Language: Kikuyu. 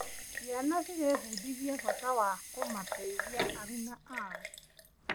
Ciana cirebundithia bata wa kũmateithia aruna ao.